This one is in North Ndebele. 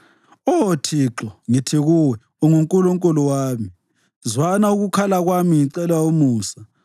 Oh Thixo, ngithi kuwe, “UnguNkulunkulu wami.” Zwana, ukukhala kwami ngicela umusa.